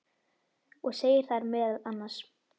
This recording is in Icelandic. og segir þar meðal annars